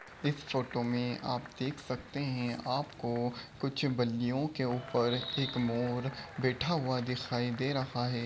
इस फोटो में आप देख सकते हैं | आपको कुछ बल्लियों के ऊपर एक मोर बैठा हुआ दिखाई दे रहा है ।